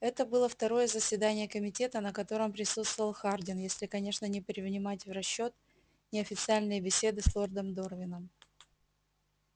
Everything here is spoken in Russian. это было второе заседание комитета на котором присутствовал хардин если конечно не принимать в расчёт неофициальные беседы с лордом дорвином